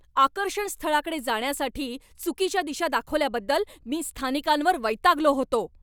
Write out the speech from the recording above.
आकर्षण स्थळाकडे जाण्यासाठी चुकीच्या दिशा दाखवल्याबद्दल मी स्थानिकांवर वैतागलो होतो.